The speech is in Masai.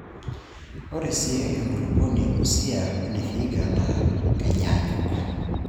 Ore sii enkulupuoni e Busia wene Vihiga naa kenyaanyuk.